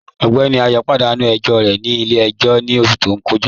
Ọgbẹ́ní Ayọ̀ padanu ẹ̀jọ rẹ̀ ni ilẹ̀-ẹ̀jọ̀ ni oṣù tó kọja.